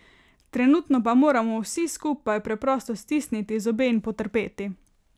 Trenutno pa moramo vsi skupaj preprosto stisniti zobe in potrpeti.